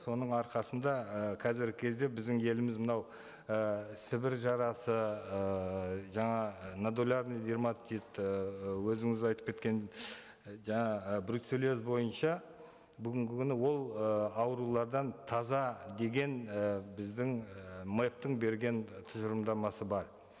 соның арқасында ы қазіргі кезде біздің еліміз мынау і сібір жарасы ыыы жаңа нодулярный дерматит ыыы өзіңіз айтып кеткен жаңа ы бруцеллез бойынша бүгінгі күні ол ы аурулардан таза деген і біздің ы мэп тің берген тұжырымдамасы бар